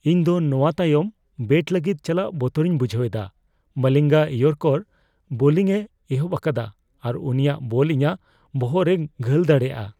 ᱤᱧ ᱫᱚ ᱱᱚᱣᱟ ᱛᱟᱭᱚᱢ ᱵᱮᱴ ᱞᱟᱹᱜᱤᱫ ᱪᱟᱞᱟᱜ ᱵᱚᱛᱚᱨᱤᱧ ᱵᱩᱡᱷᱟᱹᱣᱮᱫᱟ ᱾ ᱢᱟᱞᱤᱝᱜᱟ ᱤᱭᱚᱨᱠᱟᱨ ᱵᱳᱞᱤᱝ ᱮ ᱮᱦᱚᱯ ᱟᱠᱟᱫᱟ ᱟᱨ ᱩᱱᱤᱭᱟᱜ ᱵᱚᱞ ᱤᱧᱟᱜ ᱵᱚᱦᱚᱜ ᱨᱮᱭ ᱜᱷᱟᱹᱞ ᱫᱟᱲᱮᱭᱟᱜᱼᱟ ᱾